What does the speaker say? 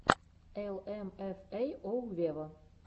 эл эм эф эй оу вево